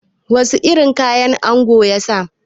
Wasu irin kaya angon ya sa?